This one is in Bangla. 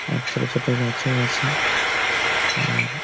আর ছোট ছোট গাছও আছে আর --